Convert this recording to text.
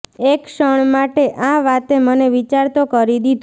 એક ક્ષણ માટે આ વાતે મને વિચારતો કરી દીધો